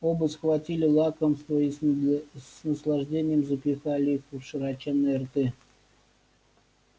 оба схватили лакомства и с наслаждением запихали их в широченные рты